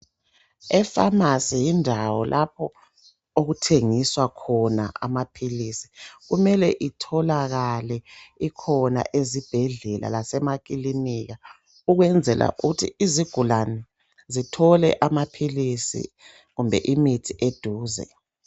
Efamasi yindawo lapho okuthengiswa khona amapilisi. Kumele itholakale ikhona ezibhedlela lasemakilinika ukwenzela ukuthi izigulane zithole amapilisi kumbe imithi eduze.